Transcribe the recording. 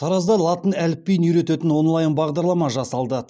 таразда латын әліпбиін үйрететін онлайн бағдарлама жасалды